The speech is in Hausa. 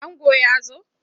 Ango ya zo?